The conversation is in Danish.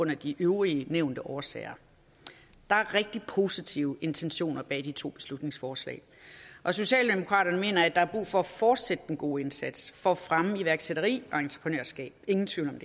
de øvrige nævnte årsager der er rigtig positive intentioner i de to beslutningsforslag og socialdemokraterne mener at der er brug for at fortsætte den gode indsats for at fremme iværksætteri og entreprenørskab ingen tvivl om